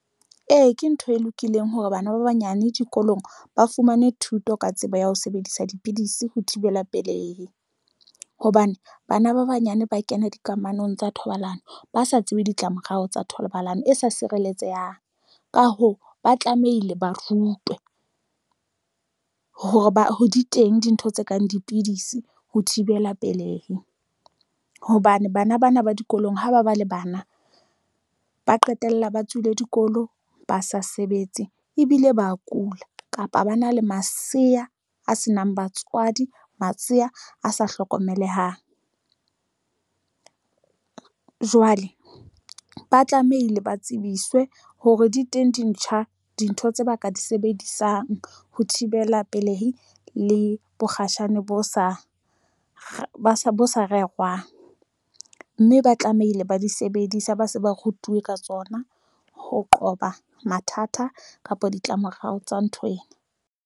Ee, ke ntho e lokileng hore bana ba banyane dikolong ba fumane thuto ka tsebo ya ho sebedisa dipidisi ho thibela pelehi hobane bana ba banyane ba kena dikamanong tsa thobalano, ba sa tsebe ditlamorao tsa thobalano e sa sireletsehang, ka hoo, ba tlamehile ba rutwe hore ba ho di teng dintho tse kang dipidisi ho thibela pelehi hobane bana ba dikolong ho ba ba le bana ba qetella ba tswile dikolo, ba sa sebetse ebile ba kula kapa ba na le masea a senang batswadi. Masea asa hlokomelehang jwale ba tlamehile ba tsebiswe hore di teng di ntjha dintho tse ba ka di sebedisang ho thibela pelehi le bokgatjhane bo sa bo sa rerwang mme ba tlamehile ba di sebedisa, ba se ba rutuwe ka tsona ho qoba mathata kapa ditlamorao tsa nthwena.